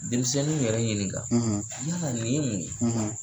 Denmisɛnninw yɛrɛ ɲininka , yala nin ye mun